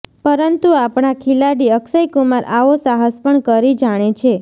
પરંતુ આપણા ખિલાડી અક્ષય કુમાર આવો સાહસ પણ કરી જાણે છે